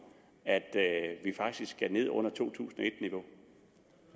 at vi faktisk skal ned under to tusind